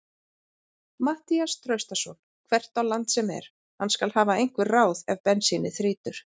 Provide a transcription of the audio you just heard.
Matthías Traustason hvert á land sem er, hann skal hafa einhver ráð ef bensínið þrýtur.